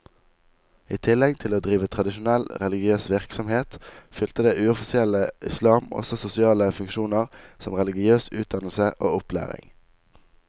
I tillegg til å drive tradisjonell religiøs virksomhet, fylte det uoffisielle islam også sosiale funksjoner som religiøs utdannelse og opplæring.